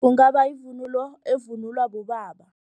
Kungaba yivunulo evunulwa bobaba.